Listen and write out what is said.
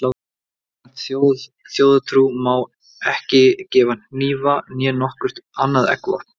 Samkvæmt þjóðtrú má ekki gefa hnífa né nokkurt annað eggvopn.